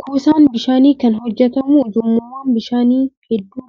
Kuusaan bishaanii kan hojjatamu ujummoowwan bishaanii hedduu